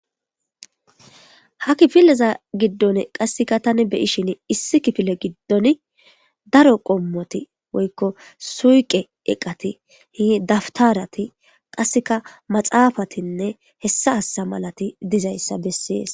ha kipileza giddon qasseka tani beyishin issi kifile giddon daro qommoti woykko suyqe eqati hi daftarati qasseka maxaafatinne hessa hassa malati dizayssa bessees